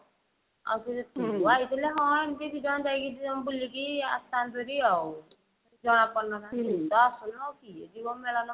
ଆଉ ଫେରେ ତୁ ଆଇଥିଲେ ହଁ ଏମତି ଦି ଜଣ ଯାଇକି ଦି ଜଣ ବୁଲିକି ଆସିଥାନ୍ତେ ହେରି ଆଉ ଜଣା ପଡିନଥାନ୍ତା ଆଉ ତୁ ତ ଆସୁନୁ ଆଉ କିଏ ଯିବ ମେଳଣ କୁ ବୁଲି